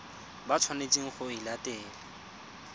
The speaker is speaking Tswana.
ba tshwanetseng go e latela